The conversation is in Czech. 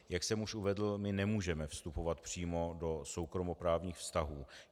Jak jsem už uvedl, my nemůžeme vstupovat přímo do soukromoprávních vztahů.